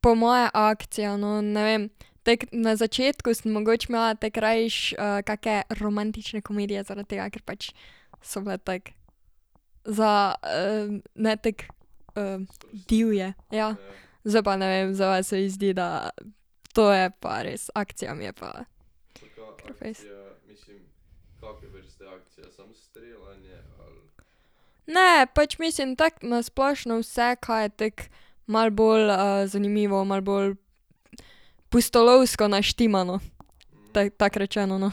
Po moje akcija, no, ne vem. na začetku sem mogoče imela tako rajši kake romantične komedije, zaradi tega, ker pač so bile tako, za ne tako divje, ja. Zdaj pa ne vem, zdaj pa se mi zdi, da to je pa res, akcija mi je pa ... Ne, pač mislim tako na splošno vse, ka je tako malo bolj zanimivo, malo bolj pustolovsko naštimano. tako rečeno, no.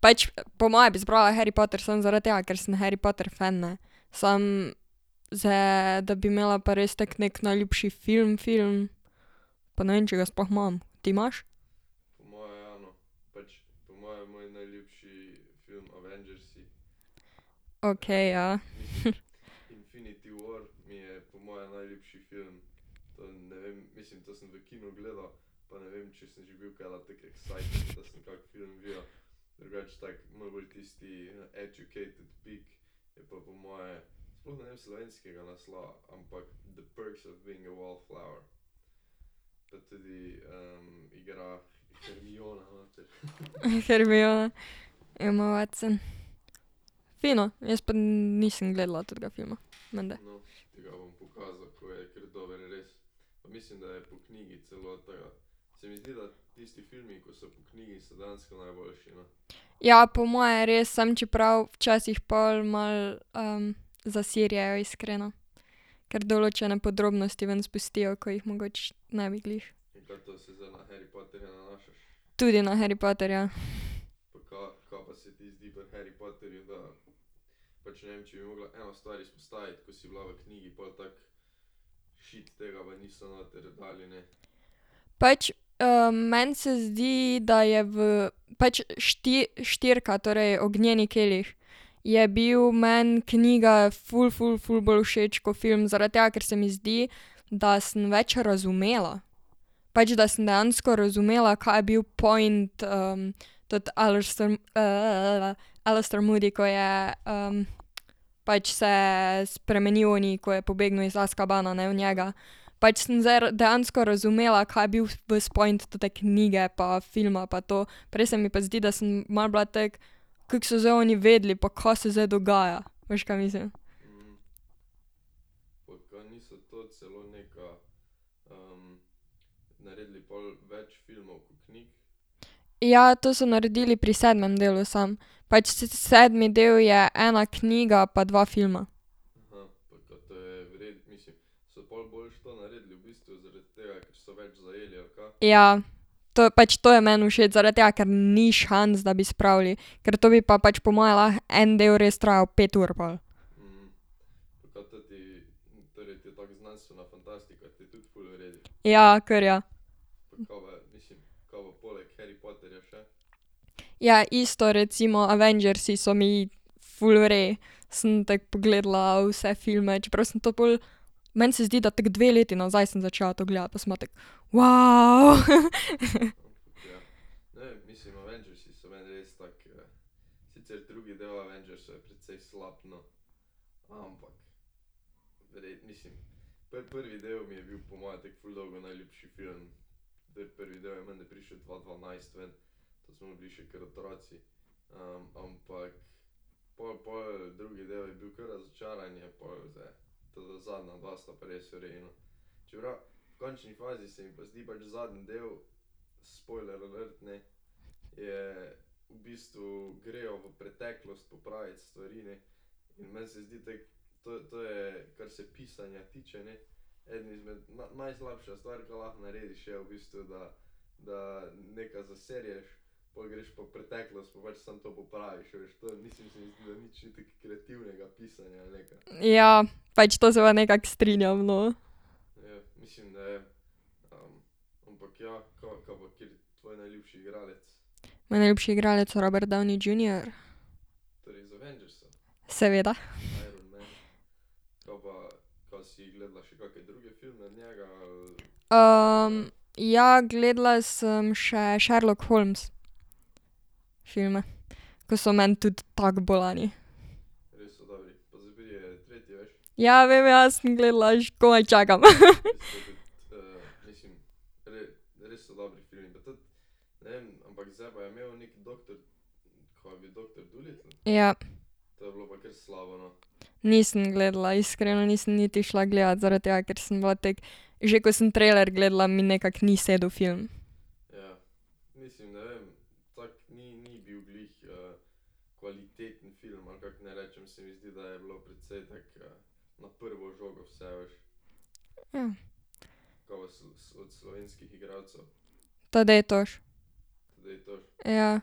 pač po moje bi zbrala Harry Potter samo zaradi tega, ker sem Harry Potter fen, ne. Samo, zdaj da bi imela pa res tako neki najljubši film film, pa ne vem, če ga sploh imam. Ti imaš? Okej, ja. Hermiona. Emma Watson. Fino, jaz pa nisem gledala tetega filma. Menda. Ja, po moje res, samo čeprav včasih pol malo zaserjejo, iskreno. Ker določene podrobnosti ven spustijo, ko jih mogoče ne bi glih. Tudi na Harry Potterja . Pač meni se zdi, da je v, pač štirka torej Ognjeni kelih, je bil meni knjiga ful ful ful bolj všeč ko film, zaradi tega, ker se mi zdi, da sem več razumela. Pač, da sem dejansko razumela, ka je bil point teti Alastor Alastor Moody, ko je pač se spremenili oni, ko je pobegnil iz Azkabana, ne, v njega. Pač sem zdaj dejansko razumela, ka je bil vas point tote knjige pa filma pa to. Prej se mi pa zdi, da sem malo bila tako, kako so zdaj oni vedeli, pa ka se zdaj dogaja, veš, ka mislim. Ja, to so naredili pri sedmem delu samo. Pač, sedmi del je ena knjiga pa dva filma. Ja. To je, pač to je meni všeč, zaradi tega, ker ni šans, da bi spravili, ker to bi pa pač po moje lahko en del res trajal pet ur pol. Ja, kar ja. Ja, isto recimo Avengersi so mi ful v redu. Sem tako pogledala vse filme, čeprav sem to pol, meni se zdi, da tako dve leti nazaj sem začela to gledati, pa sem bila tako . Ja. Pač to se pa nekako strinjam, no. Moj najljubši igralec Robert Downey Junior. Seveda. ja, gledala sem še Sherlock Holmes filme. Ko so meni tudi tako bolani. Ja, vem, ja, sem gledala, že komaj čakam. Ja. Nisem gledala, iskreno nisem niti šla gledat, zaradi tega ker sem bila tako, že ko sem trailer gledala, mi nekako ni sedel film. Ja. Tadej Toš. Ja.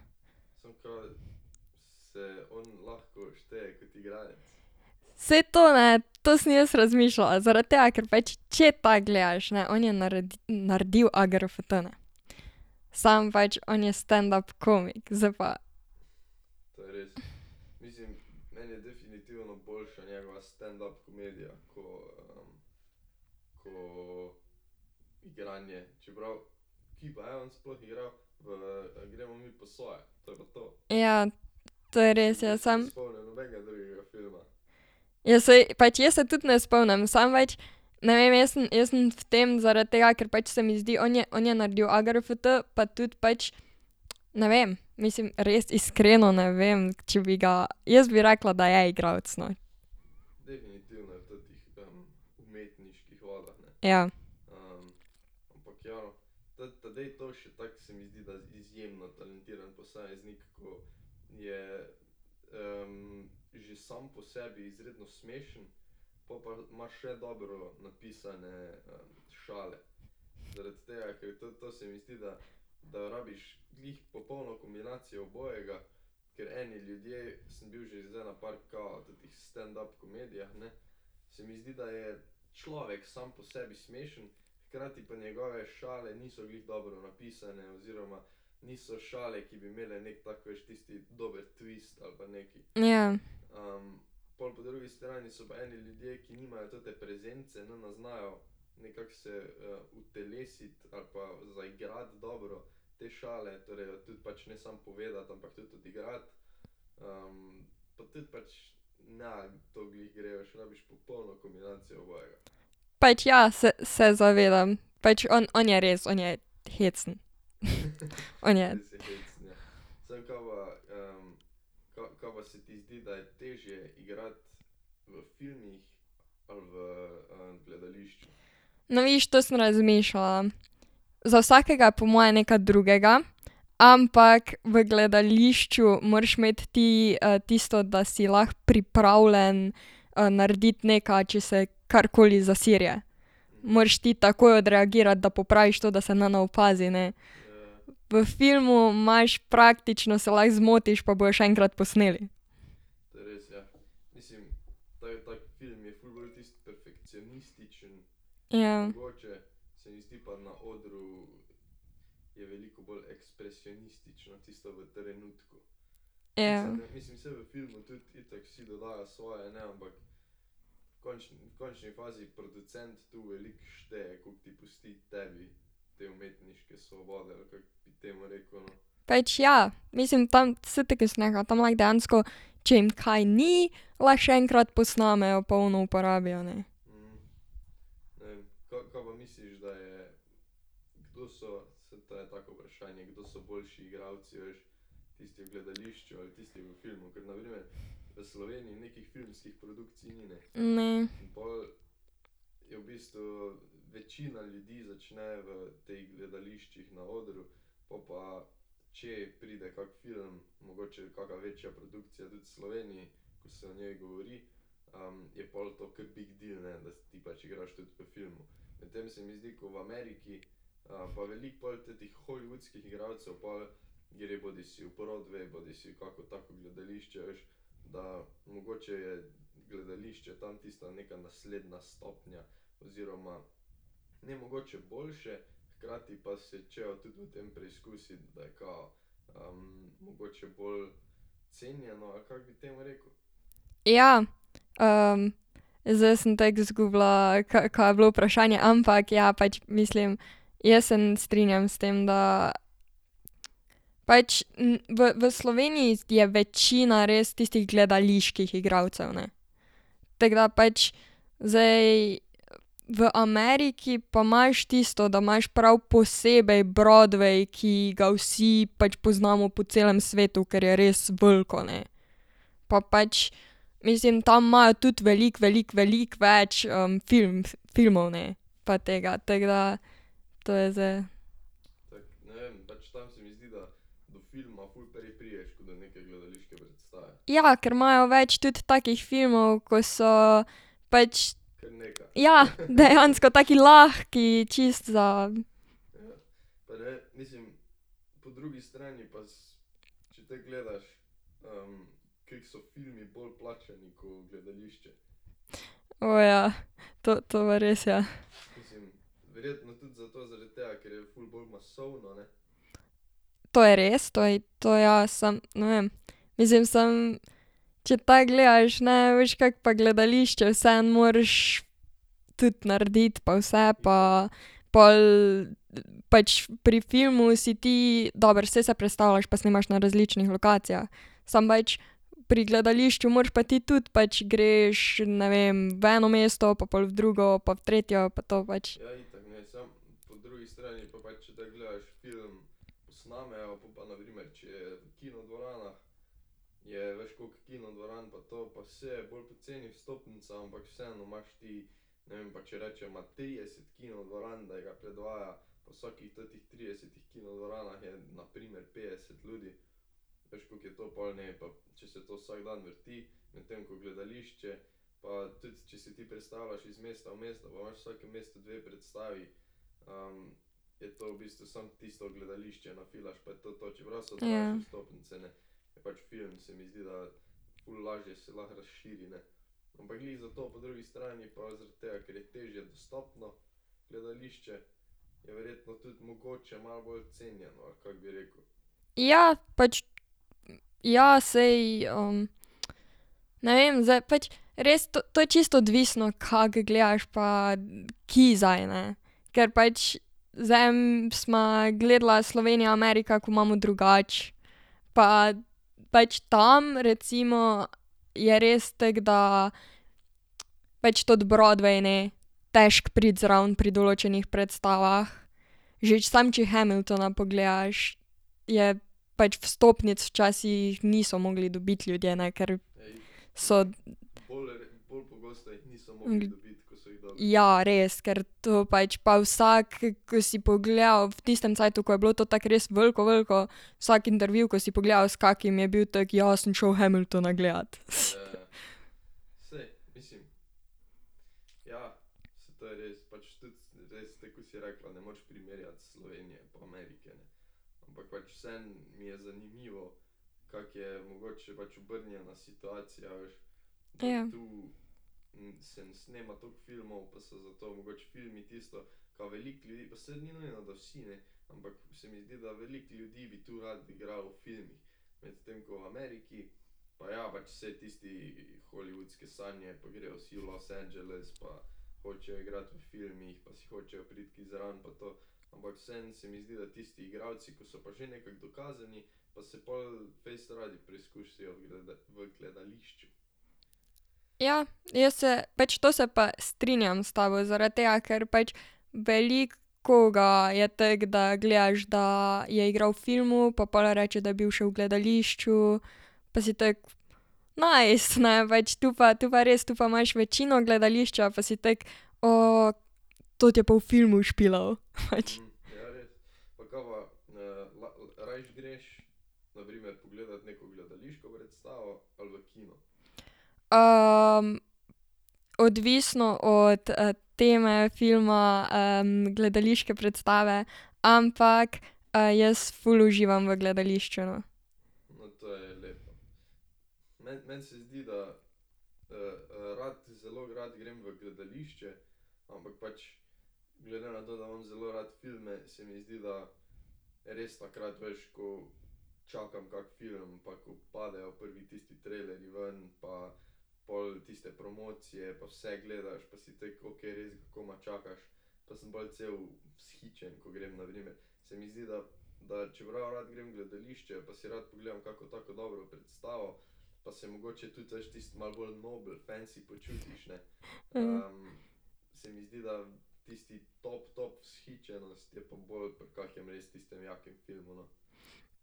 Saj to, ne, to sem jaz razmišljala, zaradi tega ker pač, če tako gledaš, ne, on je naredil Agrft, ne. Samo pač, on je standup komik, zdaj pa. Ja, to je res, ja, samo ... Ja saj, pač jaz se tudi ne spomnim, samo pač, ne vem, jaz sem, jaz sem v tem zaradi tega, ker pač se mi zdi, on je, on je naredil Agrft pa tudi pač, ne vem, mislim, res iskreno ne vem, če bi ga, jaz bi rekla, da je igralec, ne. Ja. Ja. Pač ja, se, se zavedam. Pač on on je res, on je hecen. On je. No vidiš, to sem razmišljala. Za vsakega je po moje nekaj drugega. Ampak v gledališču moraš imeti ti tisto, da si lahko pripravljen narediti nekaj, če se karkoli zaserje, moraš ti takoj odreagirati, da popraviš to, da se ne opazi, ne. V filmu imaš, praktično se lahko zmotiš pa bojo še enkrat posneli. Ja. Ja. Pač ja, mislim, tam, saj tako ko sem rekla, tam lahko dejansko, če jim kaj ni, lahko še enkrat posnamejo pa ono uporabijo, ne. Ne. Ja. Zdaj sem tako izgubila, ka je bilo vprašanje, ampak ja, pač mislim, jaz se ne strinjam s tem, da pač v v Sloveniji je večina res tistih gledaliških igralcev, ne. Tako da pač zdaj v Ameriki pa imaš tisto, da imaš prav posebej Broadway, ki ga vsi pač poznamo po celem svetu, ker je res veliko, ne. Pa pač, mislim, tam imajo tudi veliko veliko veliko več filmov, ne, pa tega, tako da to je zdaj. Ja, ker imajo več tudi takih filmov, ko so pač ja, dejansko, taki lahki čisto za ... O ja. To to pa res, ja. To je res, to to ja, samo, ne vem. Mislim, samo, če tako gledaš, ne, a veš, kako pa gledališče vseeno moraš tudi narediti pa vse pa pol pač pri filmu si ti, dobro saj se prestavljaš, pa snemaš na različnih lokacijah, samo pač pri gledališču moraš pa ti tudi, pač greš, ne vem, v eno mesto pa pol v drugo pa v tretje pa to pa pač. Ja. Ja, pač, ja, saj ne vem, zdaj pač, res to, to je čisto odvisno, kako gledaš pa kje zdaj, ne. Ker pač z enim sva gledala Slovenija Amerika, ko imamo drugače pa pač tam, recimo, je res tako, da pač toti Broadway, ne, težko priti zraven pri določenih predstavah, že samo če Hamiltona pogledaš je, pač vstopnic včasih niso mogli dobiti ljudje, ne, ker so ... Ja, res, ker to pač pa vsak, ko si pogledal v tistem cajtu, ko je bilo to tako res veliko veliko, vsak intervju, ko si pogledal, s kakim je bil, tako ja, sem šel Hamiltona gledat. Ja. Ja, jaz se pač to se pa strinjam s tabo, zaradi tega, ker pač veliko koga je tako, da gledaš, da je igral v filmu pa pol reče, da je bil še v gledališču pa si tako nice, ne, pač tu pa, to pa res, tu pa imaš večino gledališča, pa si tako toti je pa v filmu špilal, pač. Odvisno od teme filma, gledališke predstave, ampak jaz ful uživam v gledališču, no.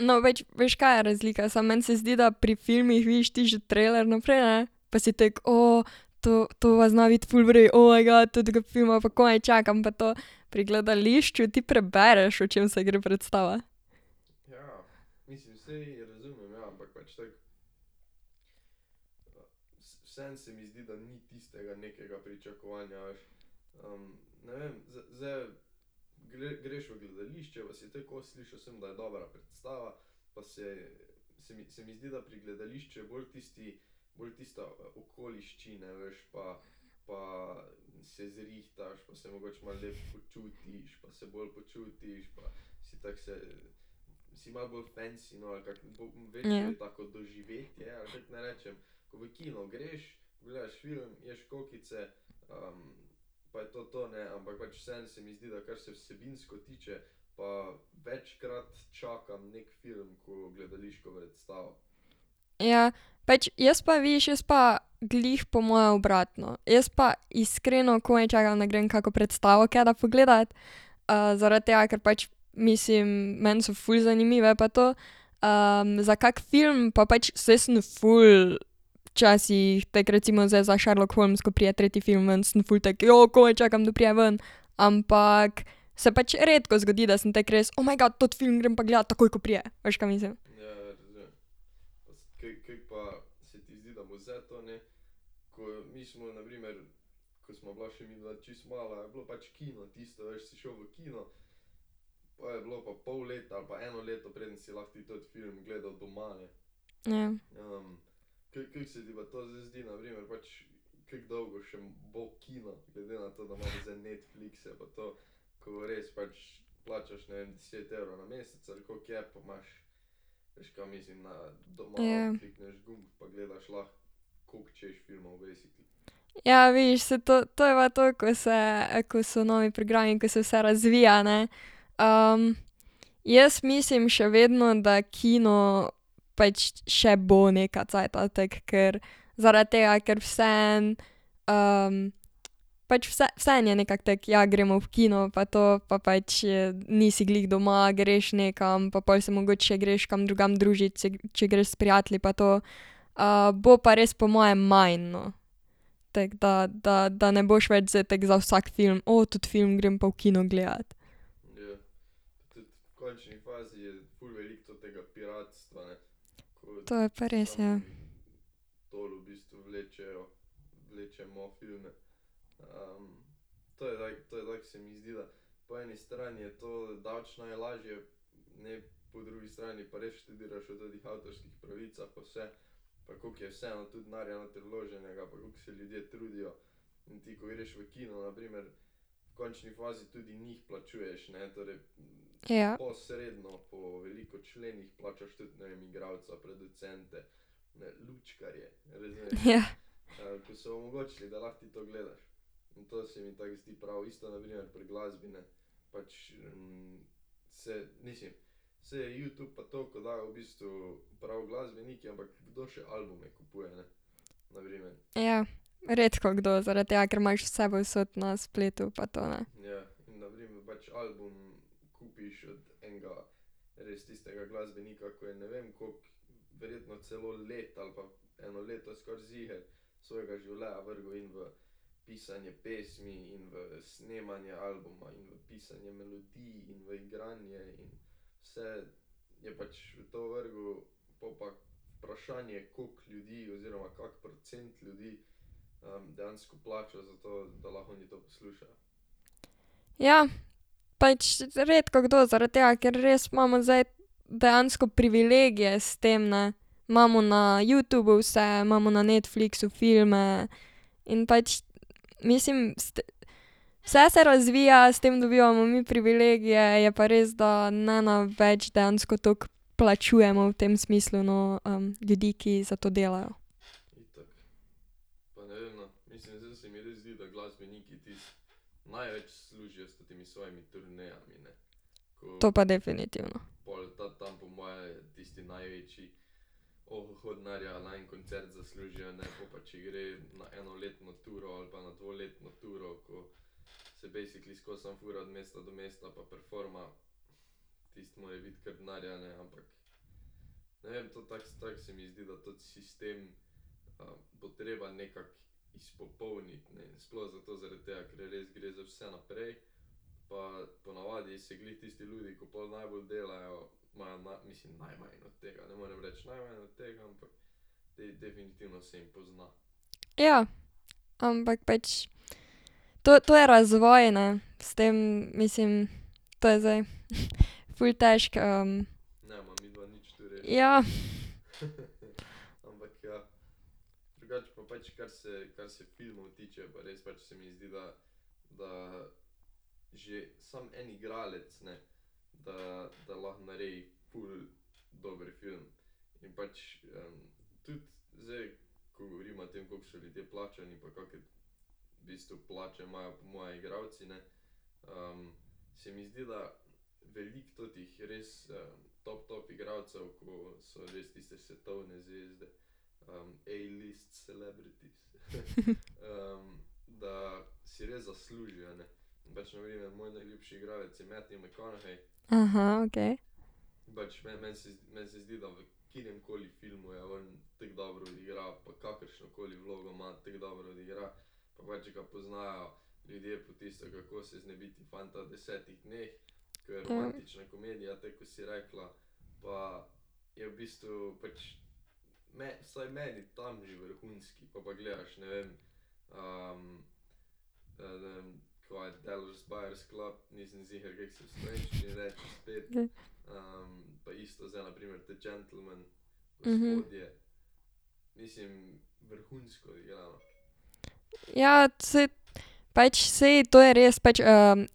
No, več, veš, ka je razlika samo, meni se zdi, da pri filmih vidiš ti že trailer vnaprej, ne, pa si tako to to pa zna biti ful v redu, oh my god, tetega filma pa komaj čakam pa to. Pri gledališču ti prebereš, o čem se gre predstava? Ja, pač jaz pa, vidiš, jaz pa glih po moje obratno. Jaz pa iskreno komaj čakam, da grem kako predstavo kdaj pogledat, zaradi tega, ker pač mislim, meni so ful zanimive pa to, za kakšen film pa pač, saj sem ful včasih, tako recimo zdaj za Sherlock Holmes ko pride tretji film ven, sem ful tako komaj čakam, da pride ven. Ampak se pač redko zgodi, da sem tako res, oh my god, toti film grem pa gledat takoj, ko pride, veš, ka mislim. Ja. Ja. Ja, vidiš, saj to, to je pa to, ko se, ko so novi programi, ko se vse razvija, ne. Jaz mislim še vedno, da kino pač še bo nekaj cajta tako, ker zaradi tega, ker vseeno pač vseeno je nekako tako, ja, gremo v kino, pa to, pa pač nisi glih doma, greš nekam pa pol se mogoče še greš kam drugam družit, če greš s prijatelji pa to. bo pa res po mojem manj, no. Tako da, da ne boš več zdaj tako za vsak film, teti film grem pa v kino gledat. To je pa res, ja. Ja. Ja. Ja. Redkokdo, zaradi tega, ker imaš vse povsod na spletu pa to, ne. Ja. Pač redkokdo, zaradi tega, ker res imamo zdaj dejansko privilegije s tem, ne. Imamo na Youtubu vse, imamo na Netflixu filme in pač, mislim, vse se razvija, s tem dobivamo mi privilegije, je pa res, da ne več dejansko toliko plačujemo v tem smislu, no, ljudi, ki za to delajo. To pa definitivno. Ja. Ampak pač to, to je razvoj, ne, s tem, mislim, to je zdaj ful težko Ja. Aha, okej. Ja. Mhm. Ja, saj, pač saj to je res, pač